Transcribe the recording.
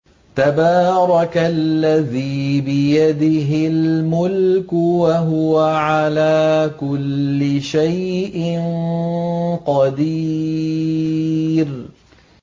تَبَارَكَ الَّذِي بِيَدِهِ الْمُلْكُ وَهُوَ عَلَىٰ كُلِّ شَيْءٍ قَدِيرٌ